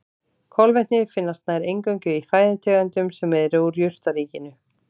Kolvetni finnast nær eingöngu í fæðutegundum sem eru úr jurtaríkinu.